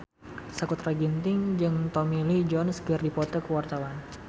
Sakutra Ginting jeung Tommy Lee Jones keur dipoto ku wartawan